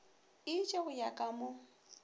itše go ya ka mo